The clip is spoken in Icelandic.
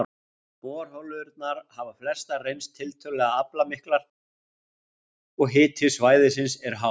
Borholurnar hafa flestar reynst tiltölulega aflmiklar, og hiti svæðisins er hár.